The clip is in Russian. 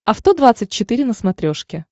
авто двадцать четыре на смотрешке